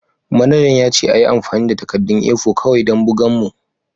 Manajan ya ce a yi amfani da takaddun A4 kawai don bugan mu